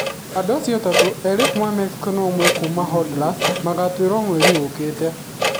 Andũ acio atatũ, erĩ a kuuma Mexico na ũmwe wa kuuma Honduras, magatuĩrũo mweri ũyũ ũkĩte.